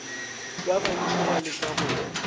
ba bantši ba leka go